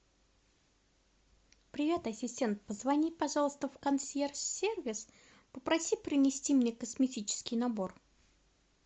привет ассистент позвони пожалуйста в консьерж сервис попроси принести мне косметический набор